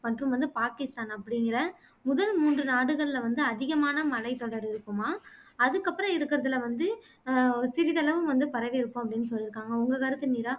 மற்றும் வந்து பாகிஸ்தான் அப்படிங்குற முதல் மூன்று நாடுகள்ல வந்து அதிகமான மலைத்தொடர் இருக்குமாம் அதுக்கு அப்பறம் இருக்குறதிலே வந்து அஹ் சிறிதளவு வந்து பரவியிருக்கும் அப்படின்னு சொல்லியிருக்காங்க உங்க கருத்து மீரா